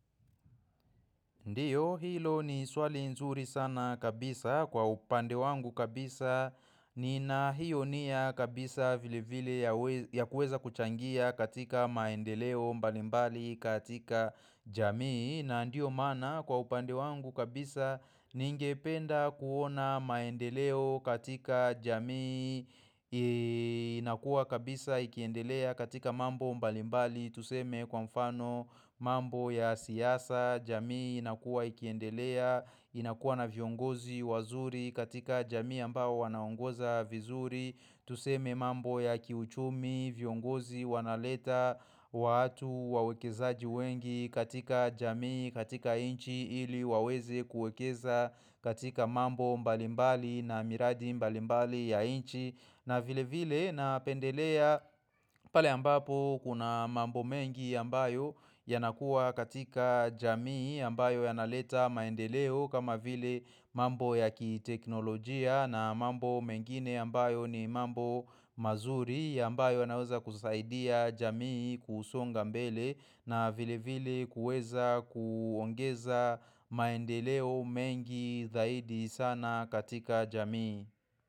Ndiyo hilo ni swali nzuri sana kabisa kwa upande wangu kabisa nina hiyo nia kabisa vile vile ya kuweza kuchangia katika maendeleo mbalimbali katika jamii. Na ndio mana kwa upande wangu kabisa ningependa kuona maendeleo katika jamii inakuwa kabisa ikiendelea katika mambo mbalimbali. Tuseme kwa mfano mambo ya siasa jamii inakuwa ikiendelea inakuwa na viongozi wazuri katika jamii ambao wanaongoza vizuri. Tuseme mambo ya kiuchumi viongozi wanaleta watu wawekezaji wengi katika jamii katika inchi ili waweze kuekeza katika mambo mbalimbali na miradi mbalimbali ya inchi. Na vile vile napendelea pale ambapo kuna mambo mengi ambayo yanakuwa katika jamii ambayo yanaleta maendeleo kama vile mambo ya kiteknolojia na mambo mengine ambayo ni mambo mazuri ambayo yanaweza kusaidia jamii kusonga mbele na vile vile kuweza kuongeza maendeleo mengi zaidi sana katika jamii.